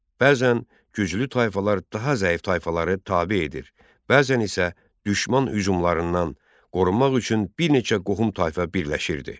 Bəzən güclü tayfalar daha zəif tayfaları tabe edir, bəzən isə düşman hücumlarından qorunmaq üçün bir neçə qohum tayfa birləşirdi.